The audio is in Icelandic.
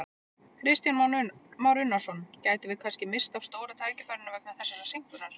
Kristján Már Unnarsson: Gætum við kannski misst af stóra tækifærinu vegna þessarar seinkunar?